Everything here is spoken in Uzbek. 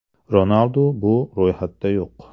Ronaldu bu ro‘yxatda yo‘q.